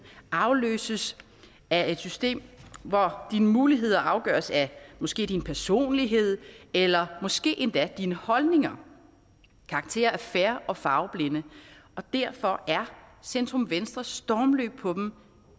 afløses af et system hvor dine muligheder afgøres af måske din personlighed eller måske endda af dine holdninger karakterer er fair og farveblinde og derfor er centrum venstres stormløb på dem